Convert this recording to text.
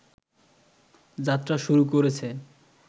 যাত্রা শুরু করেছে